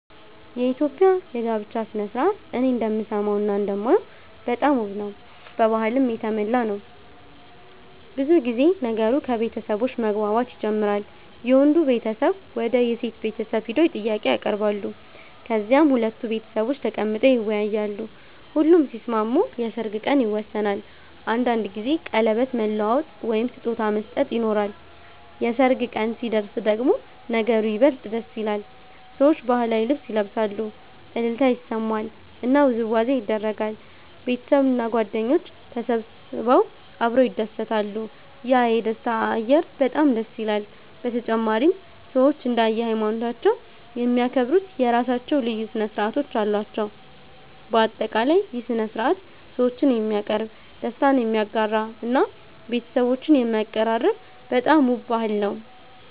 የኢትዮጵያ የጋብቻ ሥነ ሥርዓት እኔ እንደምሰማውና እንደማየው በጣም ውብ ነው፣ በባህልም የተሞላ ነው። ብዙ ጊዜ ነገሩ ከቤተሰቦች መግባባት ይጀምራል፤ የወንዱ ቤተሰብ ወደ የሴት ቤተሰብ ሄደው ጥያቄ ያቀርባሉ፣ ከዚያም ሁለቱ ቤተሰቦች ተቀምጠው ይወያያሉ። ሁሉም ሲስማሙ የሰርግ ቀን ይወሰናል፤ አንዳንድ ጊዜ ቀለበት መለዋወጥ ወይም ስጦታ መስጠት ይኖራል። የሰርግ ቀን ሲደርስ ደግሞ ነገሩ ይበልጥ ደስ ይላል፤ ሰዎች ባህላዊ ልብስ ይለብሳሉ፣ እልልታ ይሰማል እና ውዝዋዜ ይደረጋል። ቤተሰብና ጓደኞች ተሰብስበው አብረው ይደሰታሉ፤ ያ የደስታ አየር በጣም ይለያል። በተጨማሪም ሰዎች እንደ ሃይማኖታቸው የሚያከብሩት የራሳቸው ልዩ ሥነ ሥርዓቶች አሉ። በአጠቃላይ ይህ ሥነ ሥርዓት ሰዎችን የሚያቀርብ፣ ደስታን የሚያጋራ እና ቤተሰቦችን የሚያቀራርብ በጣም ውብ ባህል ነው።